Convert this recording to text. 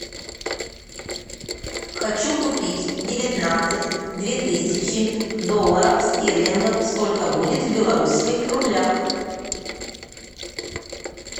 хочу купить девятнадцать две тысячи долларов стерлингов сколько будет в белорусских рублях